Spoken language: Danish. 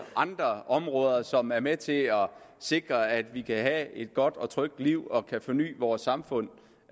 andre områder som er med til at sikre at vi kan have et godt og trygt liv og kan forny vores samfund